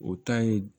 O ta ye